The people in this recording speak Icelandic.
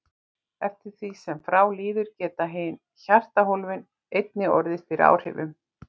Eftir því sem frá líður geta hin hjartahólfin einnig orðið fyrir áhrifum.